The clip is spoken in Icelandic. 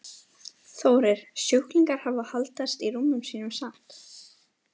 Þórir: Sjúklingar hafa haldist í rúmum sínum samt?